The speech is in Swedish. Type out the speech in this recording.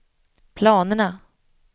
planerna